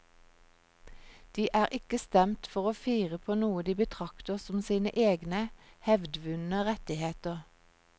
De er ikke stemt for å fire på noe de betrakter som sine egne hevdvundne rettigheter.